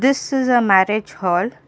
this is a marriage hall.